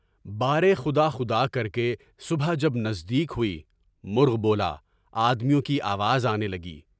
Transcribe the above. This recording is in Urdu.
بارے خدا خدا کر کے صبح جب نزدیک ہوئی، مرغ بولا، آدمیوں کی آواز آنے لگی۔